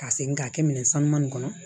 Ka segin ka kɛ minɛn sanuman in kɔnɔ